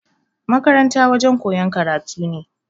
Makaranta wajen koyan karatu ne